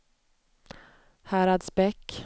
Häradsbäck